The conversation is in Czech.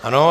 Ano.